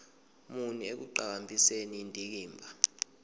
muni ekuqhakambiseni indikimba